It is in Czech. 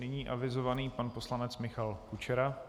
Nyní avizovaný pan poslanec Michal Kučera.